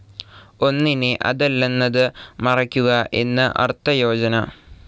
ഒന്നിനെ അതല്ലെന്നത് മറയ്ക്കുക എന്ന് അർത്ഥയോജന.